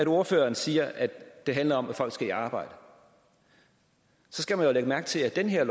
ordføreren siger at det handler om at folk skal i arbejde så skal man jo lægge mærke til at det her